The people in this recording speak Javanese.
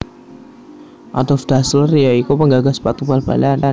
Adolf Dassler ya iku penggagas sepatu bal balalan